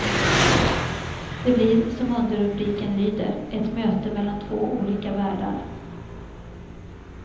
Det blir som underrubriken lyder, ett möte mellan olika världar.